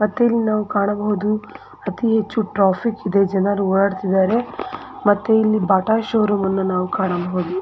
ಮತ್ತೆ ನಾವು ಇಲ್ಲಿ ಕಾಣಬಹುದು ಅತಿ ಹೆಚ್ಚು ಟ್ರಾಫಿಕ್ ಇದೆ ಜನರು ಓಡಾಡುತ್ತಿದ್ದಾರೆ ಮತ್ತೆ ಇಲ್ಲಿ ಬಾಟ ಷೋರೂಮ್ ಅನ್ನು ನಾವು ಇಲ್ಲಿ ಕಾಣಬಹುದು .